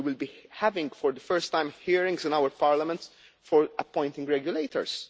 We will be having, for the first time, hearings in our Parliament for appointing regulators.